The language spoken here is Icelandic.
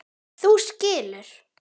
Þú skilur.